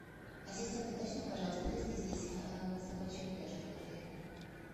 ассистент уточни пожалуйста есть ли здесь собачьи упряжки в отеле